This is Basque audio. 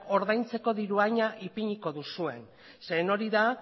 ordaintzeko diru haina ipiniko duzuen zeren hori da